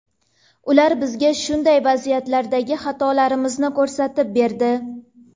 Ular bizga shunday vaziyatlardagi xatolarimizni ko‘rsatib berdi.